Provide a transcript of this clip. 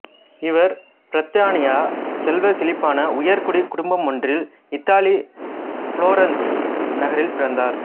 இவர் பிரித்தானியச் செல்வச் செழிப்பான உயர்குடிக் குடும்பமொன்றில் இத்தாலி புளோரன்சு நகரில் பிறந்தார்